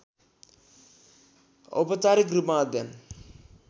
औपचारिक रूपमा अध्ययन